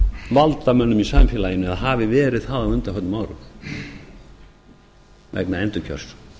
valdamönnum í samfélaginu eða hafi verið það á undanförnum árum vegna endurkjörs